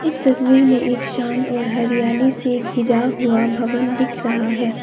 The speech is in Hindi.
इस तस्वीर में एक शांत और हरियाली से घिरा हुआ भवन दिख रहा है।